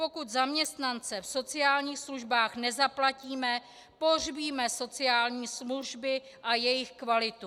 Pokud zaměstnance v sociálních službách nezaplatíme, pohřbíme sociální služby a jejich kvalitu.